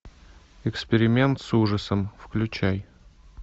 эксперимент с ужасом включай